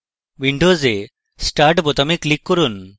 windows start বোতামে click করুন